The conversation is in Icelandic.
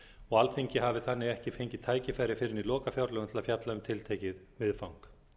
og alþingi hafi þannig ekki fengið tækifæri fyrr en í lokafjárlögum til að fjalla um tiltekið viðfang